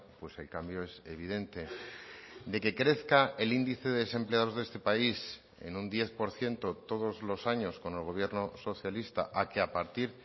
pues el cambio es evidente de que crezca el índice de desempleados de este país en un diez por ciento todos los años con el gobierno socialista a que a partir